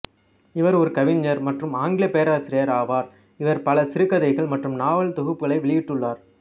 இவர் ஒரு கவிஞர் மற்றும் ஆங்கில பேராசிரியர் ஆவார் இவர் பல சிறுகதைகள் மற்றும் நாவல் தொகுப்புகளை வெளியிட்டுள்ளார்